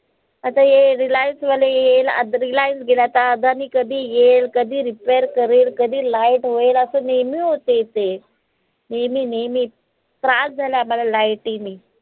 आता हे Reliance वाले येइल आता Reliance गेला आता Adani कधी येईल, कधी repair करल, कधी light होईल असं नेहमी होतंय इथे नेहमी नेहमी त्रास झालाय light नी